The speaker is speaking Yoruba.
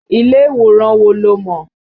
Ilé ìwòran wo lo mọ̀?